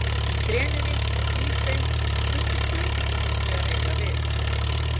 Í Grenivík og Hrísey mundi spurningin hins vegar eiga við.